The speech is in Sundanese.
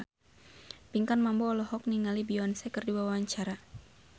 Pinkan Mambo olohok ningali Beyonce keur diwawancara